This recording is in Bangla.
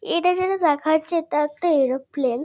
এটা যেটা দেখা যাচ্ছে এটা একটা এরোপ্লেন ।